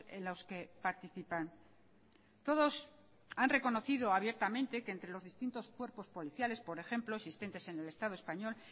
en los que participan todos han reconocido abiertamente que entre los distintos cuerpos policiales por ejemplo existentes en el estado español